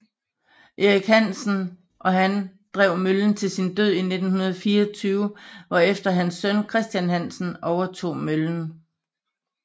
Erik Hansen og han drev møllen til sin død i 1924 hvorefter hans søn Christian Hansen overtog møllen